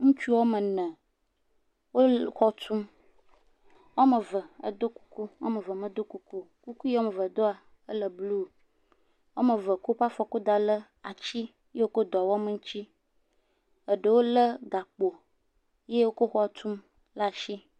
Ŋutsu woame ne, wo xɔ tum, woame ve do kuku, woame ve medo kuku, kuku ya woame ve doa, ele blu, woame ve kɔ woƒe afɔ kɔ da le ati yi wokɔ dɔ wɔm ŋuti.